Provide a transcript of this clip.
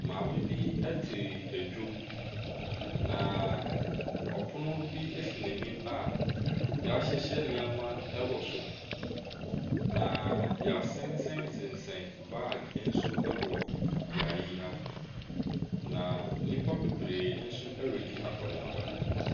Maame bi te dwam. Na ɔpono bi si n'anim a yɛahyehyɛ nneɛma wɔ so. Na yɛasensɛsensɛn bag nso wɔ bea ha. Na nnipa bebree nso redi akɔneaba.